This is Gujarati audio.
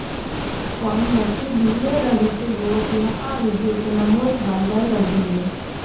કમનસીબી એ રહી કે યુવતીનો આ વીડિયો તેના મોત બાદ વાઈરલ બન્યો